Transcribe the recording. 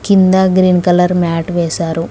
కింద green colour mat వేశారు.